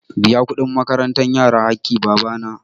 Biyan kuɗin makarantar yara haƙƙin baba na.